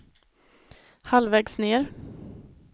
halvvägs ned